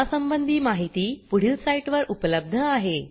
यासंबंधी माहिती पुढील साईटवर उपलब्ध आहे